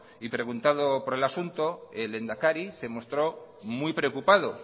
y preguntado por el asunto el lehendakari se mostró muy preocupado